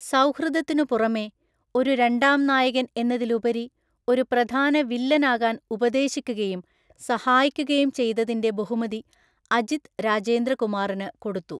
സൗഹൃദത്തിനുപുറമെ, ഒരു രണ്ടാം നായകൻ എന്നതിലുപരി ഒരു പ്രധാന വില്ലൻ ആകാൻ ഉപദേശിക്കുകയും സഹായിക്കുകയും ചെയ്തതിന്റെ ബഹുമതി അജിത് രാജേന്ദ്ര കുമാറിന് കൊടുത്തു.